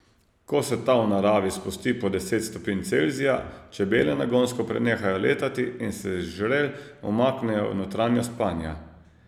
Ko se ta v naravi spusti pod deset stopinj Celzija, čebele nagonsko prenehajo letati in se z žrel umaknejo v notranjost panja.